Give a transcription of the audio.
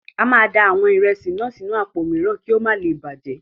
A máa da àwọn ìrẹsì náà sínú àpò mìíràn ki o má le bàjẹ́.